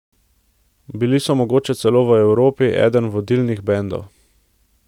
Bili so mogoče celo v Evropi eden vodilnih bendov.